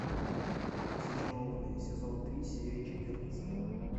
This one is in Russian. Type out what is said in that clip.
зачарованные сезон три серия четырнадцать